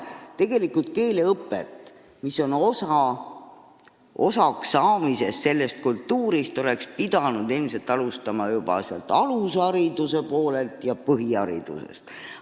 Keeleõpet, mida on vaja kultuurist osasaamiseks, oleks pidanud alustama juba alushariduse ja põhihariduse poole pealt.